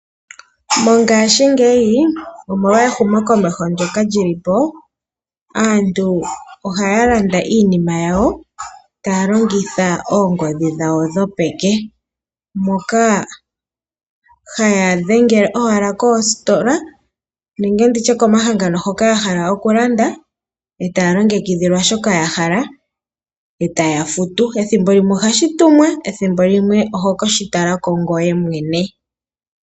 Mongashingeyi omolwa ehumokomeho ndyoka lyi li po, aantu ohaa landa iinima yawo taa longitha oongodhi dhawo dhopeke, moka haa dhengele owala koositola nenge ndi tye komahangano hoka ya hala okulanda e taa longekidhilwa shoka ya hala, e taa futu. Ethimbo limwe ohashi tumwa, ethimbo limwe oho ke shi tala ko ngoye mwene.